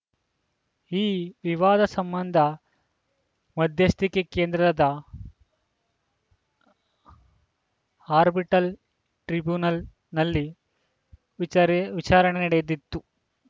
ಈ ವಿವಾದ ಸಂಬಂಧ ಮಧ್ಯಸ್ಥಿಕೆ ಕೇಂದ್ರದ ಅರ್ಬಿಟ್ರಲ್‌ ಟ್ರಿಬ್ಯುನಲ್‌ನಲ್ಲಿ ವಿಚೆರೆ ವಿಚಾರಣೆ ನಡೆದಿತ್ತು